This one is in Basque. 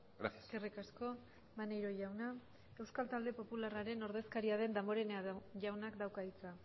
gracias eskerrik asko maneiro jauna euskal talde popularraren ordezkaria den damborenea jaunak dauka hitza